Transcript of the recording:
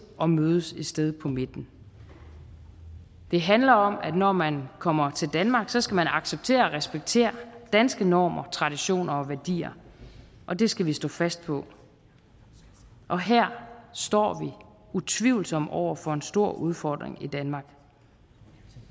og mødes et sted på midten det handler om at når man kommer til danmark så skal man acceptere og respektere danske normer traditioner og værdier og det skal vi stå fast på og her står vi utvivlsomt over for en stor udfordring i danmark